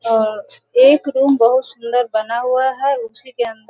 और एक रूम बहुत सुंदर बना हुआ है उसी के अंदर --